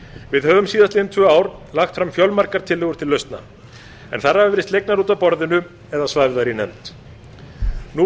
við höfum síðastliðin tvö ár lagt fram fjölmargar tillögur til lausnar en þær hafa verið slegnar út af borðinu eða svæfðar í nefnd nú